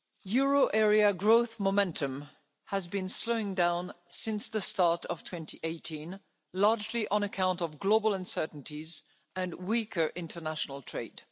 Euro area growth momentum has been slowing down since the start of 2018, largely on account of global uncertainties and weaker international trade.